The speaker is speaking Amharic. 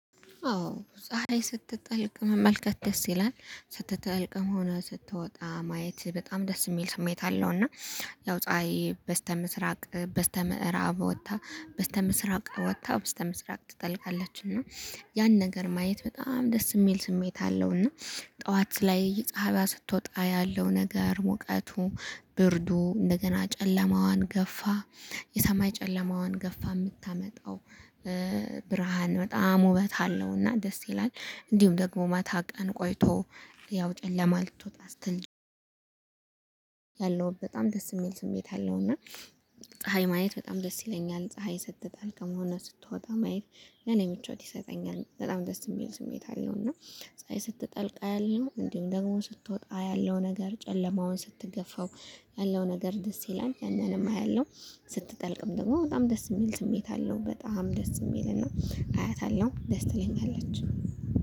አዎ ፀሀይ ስትጠልቅ መመልከት ደስ ይላል ስትጠልቅም ሆነ ስትወጣ ማየት በጣም ደስ የሚል ስሜት አለው። እና ያው ፀሀይ በስተምስራቅ በስተምዕራብ ወጥታ በስተምስራቅ ወጥታ ውጥታ በስተምስራቅ ትጠልቃለች እና ያን ነገር ማየት በጣም ደስ የሚል ስሜት አለው። እና ጠዋት ላይ ጻሃይዋ ስትወጣ ያለው ነገር ሙቀቱ ብርዱ እንደገና ጨለማዋን ገፋ የሰማይ ጨለማዋን ገፋ የምታመጣው ብርሃን በጣም ውበት አለውና ደስ ይላል። እንዲሁም ደግሞ ማታ ቀን ቆይቶ ያው ጨለማ ልትወጣ ስትል ያለው በጣም ደስ የሚል ስሜት አለው። እና ፀሀይ ማየት በጣም ደስ ይለኛል። ፀሀይ ስትጠልቅም ሆነ ስትወጣ ማየት ለእኔ ምቾት ይሰጠኛል በጣም ደስ የሚል ስሜት አለው። እና ፀሀይ ስትጠልቅ አያለሁ እንዲሁም ደግሞ ስትወጣ ያለው ነገር ጨለማውን ስትገፋው ያለው ነገር ደስ ይላል። ያንንም አያለሁ ስትጠልቅም ደግሞ በጣም ደስ የሚል ስሜት አለው በጣም ደስ የሚልን ነው አያታለሁ ደስ ትለኛለች